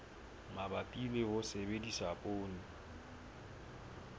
mabapi le ho sebedisa poone